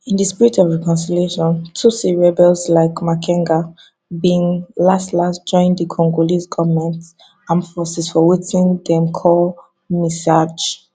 in di spirit of reconciliation tutsi rebels like makenga bin laslas join di congolese goment armed forces for wetin dem call mixage